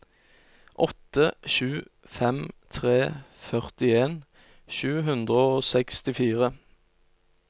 åtte sju fem tre førtien sju hundre og sekstifire